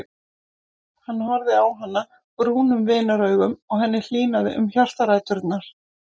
Hann horfði á hana brúnum vinaraugum og henni hlýnaði um hjartaræturnar.